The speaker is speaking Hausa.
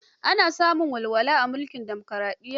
Ana samun walwala a mulkin dimokaraɗiyya.